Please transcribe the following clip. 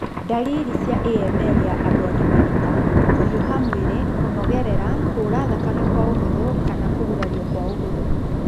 Ndariri cia AML ya andũ agima nĩ ta:kũhiũha mwĩrĩ, kũnogerera, kuura thakame kwa ũhũthũ kana kũgurario kwa ũhũthũ.